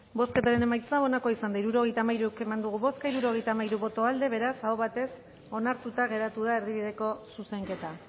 bozketaren emaitza onako izan da hirurogeita hamairu eman dugu bozka hirurogeita hamairu boto aldekoa beraz aho batez onartuta geratu da erdibideko zuzenketa